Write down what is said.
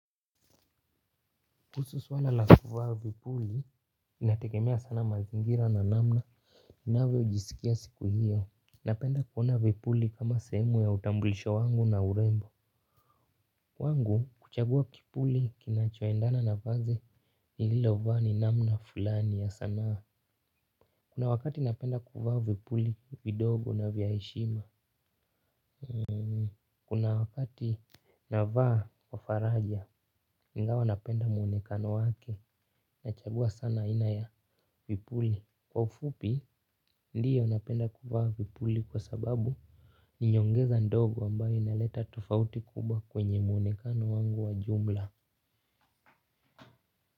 Kuhusu swala la kuvaa vipuli, inategemea sana mazingira na namna, ninavyo jisikia siku hiyo. Napenda kuona vipuli kama sehemu ya utambulisho wangu na urembo. Kwangu kuchagua kipuli kinachuendana na vazi, nililovaa ni namna fulani ya sanaa. Kuna wakati napenda kuvaa vipuli, vidogo na vya heshima. Kuna wakati navaa kwa faraja, ingawa napenda muonekano wake. Nachagua sana aina ya vipuli. Kwa ufupi ndiyo napenda kuvaa vipuli kwa sababu ni nyongeza ndogo ambayo inaleta tofauti kubwa kwenye muonekano wangu wa jumla.